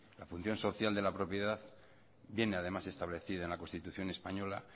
la función social de la propiedad viene además establecida en la constitución española